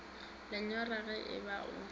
lenyora ge e ba o